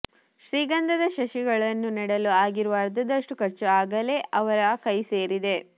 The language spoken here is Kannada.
ಶ್ರೀಗಂಧದ ಸಸಿಗಳನ್ನು ನೆಡಲು ಆಗಿರುವ ಅರ್ಧದಷ್ಟು ಖರ್ಚು ಆಗಲೇ ಇವರ ಕೈಸೇರಿದೆ